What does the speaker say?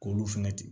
K'olu fɛnɛ ten